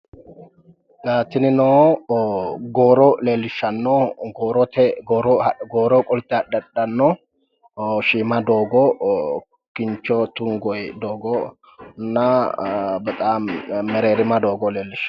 Xa tinino gooro leellishshanno goorote gooro qolte haadhe hadhanno shiima doogo kincho tungoyi doogonna bexaami mereerima doogo leellishawo.